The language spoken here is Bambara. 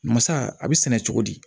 Masa a bɛ sɛnɛ cogo di